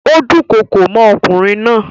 Ó dúnkokò mọ́ ọkùnrin náà.